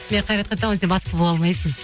мен қайратқа айтамын ғой сен бастық бола алмайсың